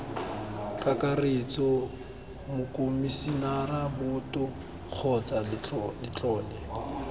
kakaretso mokomisinara boto kgotsa letlole